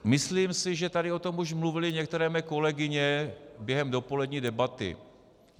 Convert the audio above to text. Myslím si, že tady o tom už mluvily některé mé kolegyně během dopolední debaty.